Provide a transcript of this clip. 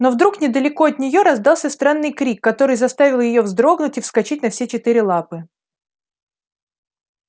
но вдруг недалеко от нее раздался странный крик который заставил её вздрогнуть и вскочить на все четыре лапы